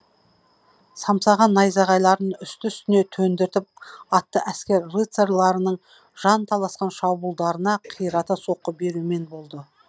самсаған найзағайлардын үсті үстіне төндіріп атты әскер рыцарьларының жанталасқан шабуылдарына қирата соққы берумен болды